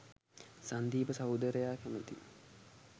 සංදීප සහෝදරය කැමතියි